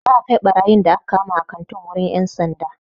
Za'a kai ɓarayin da aka kama a kantin wurin 'yan sanda.